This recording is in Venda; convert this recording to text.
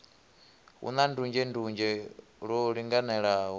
hu na ndunzhendunzhe lwo linganelaho